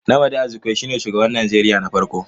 Nnamdi Azikiwe shine shugaban Najeriya na farko